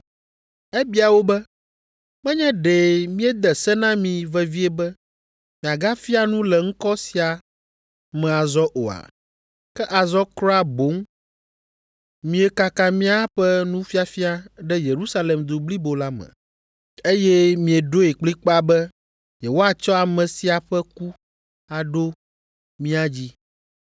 Ebia wo be, “Menye ɖe míede se na mi vevie be miagafia nu le ŋkɔ sia me azɔ oa? Ke azɔ kura boŋ miekaka míaƒe nufiafia ɖe Yerusalem du blibo la me, eye mieɖoe kplikpaa be yewoatsɔ ame sia ƒe ku aɖo mía dzi!”